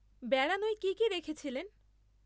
বেড়ানোয় কী কী রেখেছিলেন?